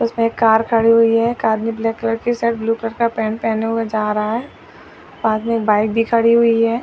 उसमे एक कार खड़ी हुई है कार में ब्लैक कलर की शर्ट ब्लू कलर का पेंट पहने हुए जा रहा है और वो बाइक भी खड़ी हुई है।